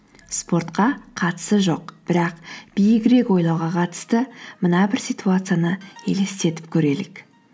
спортқа қатысы жоқ бірақ биігірек ойлауға қатысты мына бір ситуацияны елестетіп көрелік